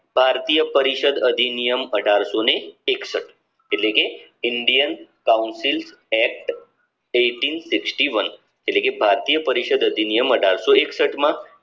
ભારતીય પરિષદ આદિનિયામ અઢારશોને એકસઠ એટલેકે indian council act eighteen sixty one એટલે કે ભારતીય પરિષદ અધિનિયમ અઢારસો એકસઠ માં